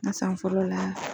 Ne san fɔlɔ la